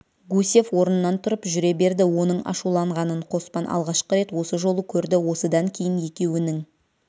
гусев орнынан тұрып жүре берді оның ашуланғанын қоспан алғашқы рет осы жолы көрді осыдан кейін екеуінің